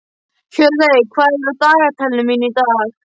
Hjörleif, hvað er á dagatalinu mínu í dag?